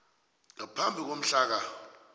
ngaphambi komhla ka